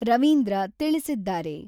ರವೀಂದ್ರ ತಿಳಿಸಿದ್ದಾರೆ.